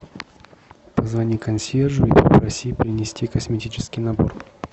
позвони консьержу и попроси принести косметический набор